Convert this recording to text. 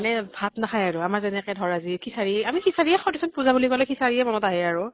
মানে ভাত নাখাই আৰু । আমাৰ যেনেকে ধৰা খিচাৰি, আমি খিচাৰি য়ে খাওঁ ধৰাচোন । পুজা বুলি কʼলে খিচাৰিয়ে মনিত আহে আৰু।